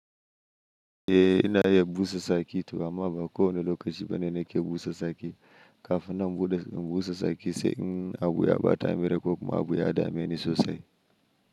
Eh ina iya busa saki toh amma ba ko wane lokaci bane nake busa saki. Kafina in busa saki sai in abu ya bata a mere ko kuma abu ya dame ni sosai.